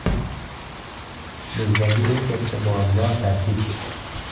Bizdagi eng katta muammo tarkib.